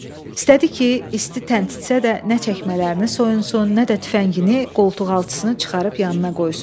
İstədi ki, isti təntitsə də nə çəkmələrini soyunsun, nə də tüfəngini qoltuqaltısını çıxarıb yanına qoysun.